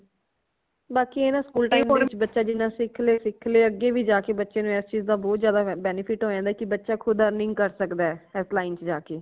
ਬਾਕੀ ਏ ਨਾ school time ਦੇ ਵਿਚ ਜਿਨ੍ਹਾਂ ਬੱਚਾ ਸਿੱਖ ਲੇ ਸਿੱਖ ਲੇ ਅਗੇ ਵੀ ਜਾਕੇ ਬੱਚੇ ਨੂੰ ਇਸ ਚੀਜ਼ ਦਾ ਬਹੁਤ ਜਿਆਦਾ benefit ਹੋ ਜਾਂਦਾ ਕਿ ਬੱਚਾ ਖੁਦ earning ਕਰ ਸਕਦਾ ਹੈ ਐਸ line ਚ ਜਾਕੇ